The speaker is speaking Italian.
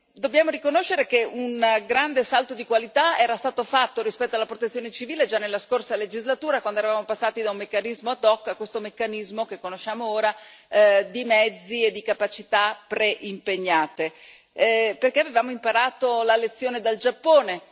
Dobbiamo riconoscere che un grande salto di qualità era stato fatto rispetto alla Protezione civile già nella scorsa legislatura, quando eravamo passati da un meccanismo ad hoc a questo meccanismo che conosciamo ora di mezzi e di capacità preimpegnate, perché avevamo imparato la lezione dal Giappone.